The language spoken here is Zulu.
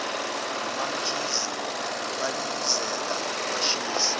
nomamkhize balilizela kwashisa